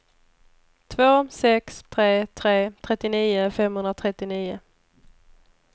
två sex tre tre trettionio femhundratrettionio